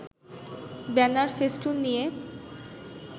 banner-festoon নিয়ে